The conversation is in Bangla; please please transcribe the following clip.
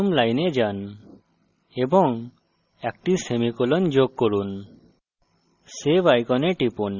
সুতরাং পঞ্চম line যান এবং একটি semicolon যোগ করুন